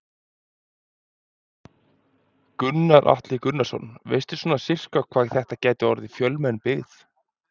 Gunnar Atli Gunnarsson: Veistu svona sirka hvað þetta gæti orðið fjölmenn byggð?